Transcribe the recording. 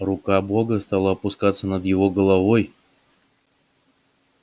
рука бога стала опускаться над его головой